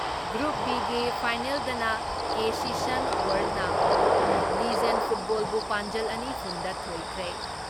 Group ꯕꯤꯒꯤ ꯐꯥꯏꯅꯦꯜꯗꯅ ꯀꯦꯁꯤꯁꯟ ꯋꯥꯔꯜꯅ ꯂꯤꯖꯦꯟ ꯐꯨꯠꯕꯣꯜꯕꯨ ꯄꯥꯟꯖꯜ ꯑꯅꯤ ꯐꯨꯟ ꯗ ꯊꯣꯏꯈ꯭ꯔꯦ ꯫